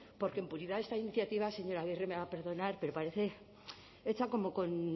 porque en puridad esta iniciativa señora agirre me va a perdonar pero parece hecha como con